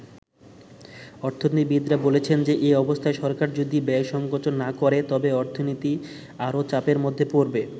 অর্থনীতিবিদরা বলছেন, এ অবস্থায় সরকার যদি ব্যয় সংকোচন না করে, তবে অর্থনীতি আরো চাপের মধ্যে পড়বে।